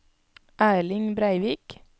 Erling Breivik